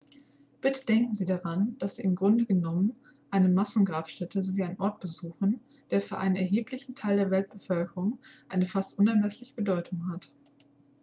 bitte denken sie daran dass sie im grunde genommen eine massengrabstätte sowie einen ort besuchen der für einen erheblichen teil der weltbevölkerung eine fast unermessliche bedeutung hat